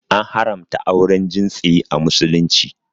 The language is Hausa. An haramta auren jinsi a Musulunci.